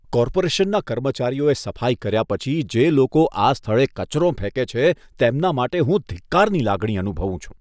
કોર્પોરેશનના કર્મચારીઓએ સફાઈ કર્યા પછી જે લોકો આ સ્થળે કચરો ફેંકે છે તેમના માટે હું ધિક્કારની લાગણી અનુભવું છું.